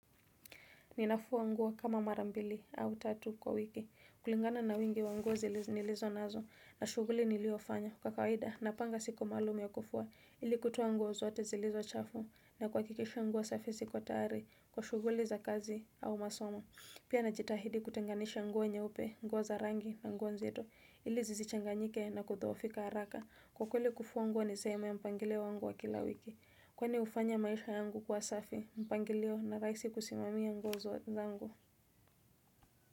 Ninafua nguo kama mara mbili au tatu kwa wiki. Kulingana na wingi wa nguo nilizonazo na shughuli niliyofanya. Kwa kawaida, napanga siku maalum ya kufua. Ili kutoa nguo zote zilizo chafu na kuhakikisha nguo safi ziko tayari kwa shughuli za kazi au masomo. Pia n jitahidi kutenganisha nguo nyeupe, nguo za rangi na nguo nzito. Ili zisichanganyike na kudhoofika haraka. Kwa kweli kufua nguo ni sehemu ya mpangilio wangu wa kila wiki. Kwani hufanya maisha yangu kuwa safi, mpangilio na rahisi kusimamia nguo zangu.